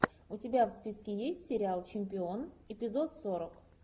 у тебя в списке есть сериал чемпион эпизод сорок